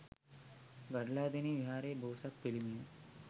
ගඩලාදෙණිය විහාරයේ බෝසත් පිළිමය